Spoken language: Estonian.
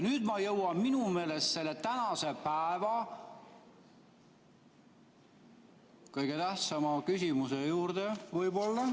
Nüüd ma jõuan minu meelest selle tänase päeva kõige tähtsama küsimuse juurde võib-olla.